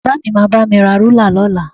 Bàbá mi máa bá mi ra rúlà lọ́la